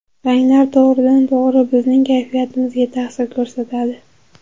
Ranglar to‘g‘ridan-to‘g‘ri bizning kayfiyatimizga ta’sir ko‘rsatadi.